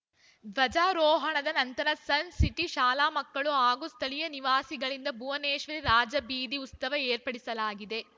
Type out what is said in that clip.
ಧ್ವಜಾರೋಹಣದ ನಂತರ Sun City ಶಾಲಾ ಮಕ್ಕಳು ಹಾಗೂ ಸ್ಥಳೀಯ ನಿವಾಸಿಗಳಿಂದ ಭುವನೇಶ್ವರಿ ರಾಜಬೀದಿ ಉತ್ಸವ ಏರ್ಪಡಿಸಲಾಗಿದೆ